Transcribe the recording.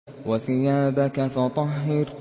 وَثِيَابَكَ فَطَهِّرْ